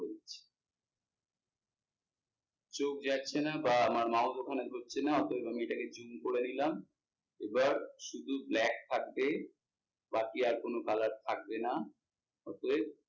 চোখ যাচ্ছে না বা আমার mouse ওখানে ধরছে না অতয়েব আমি এটাকে zoom করে নিলাম। এবার শুধু black থাকবে বাকি আর কোনো colour থাকবে না অতয়েব,